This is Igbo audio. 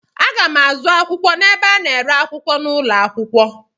Aga m azụ akwụkwọ n'ebe a na-ere akwụkwọ n'ụlọ akwụkwọ.